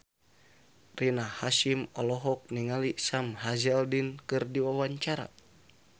Rina Hasyim olohok ningali Sam Hazeldine keur diwawancara